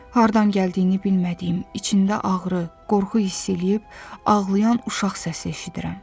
Hardan gəldiyini bilmədiyim, içində ağrı, qorxu hiss eləyib ağlayan uşaq səsi eşidirəm.